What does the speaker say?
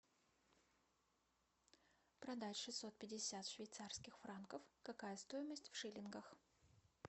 продать шестьсот пятьдесят швейцарских франков какая стоимость в шиллингах